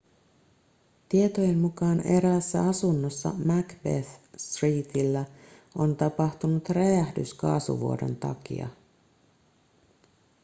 tietojen mukaan eräässä asunnossa macbeth streetillä on tapahtunut räjähdys kaasuvuodon takia